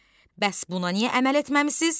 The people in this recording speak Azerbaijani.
Bəs buna niyə əməl etməmisiz?